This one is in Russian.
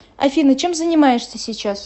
афина чем занимаешься сейчас